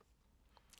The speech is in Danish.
DR1